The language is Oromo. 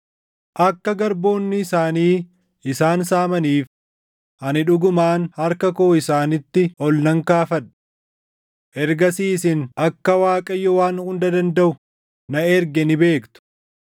akka garboonni isaanii isaan saamaniif ani dhugumaan harka koo isaanitti ol nan kaafadha. Ergasii isin akka Waaqayyo Waan Hunda Dandaʼu na erge ni beektu.